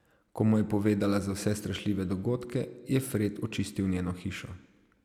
Ko mu je povedala za vse strašljive dogodke, je Fred očistil njeno hišo.